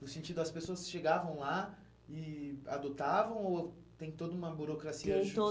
No sentido, as pessoas chegavam lá e adotavam ou tem toda uma burocracia... Tem